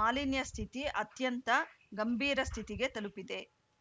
ಮಾಲಿನ್ಯ ಸ್ಥಿತಿ ಅತ್ಯಂತ ಗಂಭೀರ ಸ್ಥಿತಿಗೆ ತಲುಪಿದೆ